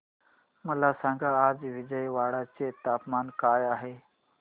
मला सांगा आज विजयवाडा चे तापमान काय आहे